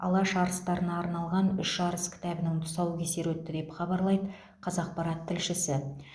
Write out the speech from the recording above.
алаш арыстарына арналған үш арыс кітабының тұсаукесері өтті деп хабарлайды қазақпарат тілшісі